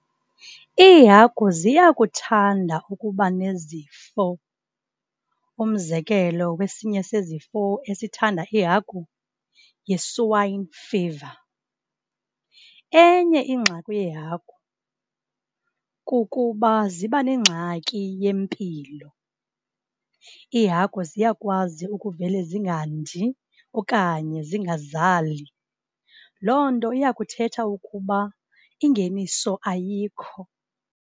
Iihagu ziyakuthanda ukuba nezifo, umzekelo kwesinye sezifo esithanda iihagu, yi-swine fever. Enye ingxaki yehagu kukuba ziba nengxaki yempilo. Ihagu ziyakwazi ukuvele zingandi okanye zingazali, loo nto iyakuthetha ukuba ingeniso ayikho.